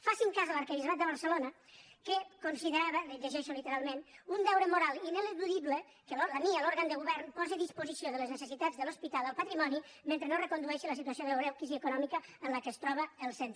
facin cas de l’arquebisbat de barcelona que conside·rava ho llegeixo literalment un deure moral ineludi·ble que la mia l’òrgan de govern posi a disposició de les necessitats de l’hospital el patrimoni mentre no es recondueixi la situació de la greu crisi econòmica en què es troba el centre